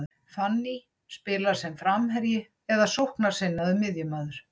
Fanny spilar sem framherji eða sóknarsinnaður miðjumaður.